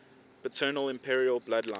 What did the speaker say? paternal imperial bloodline